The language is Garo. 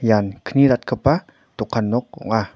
ian kni ratgipa dokan nok ong·a.